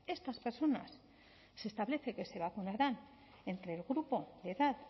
estas personas se establece que se vacunarán entre el grupo de edad